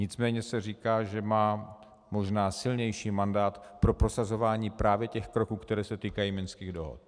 Nicméně se říká, že má možná silnější mandát pro prosazování právě těch kroků, které se týkají minských dohod.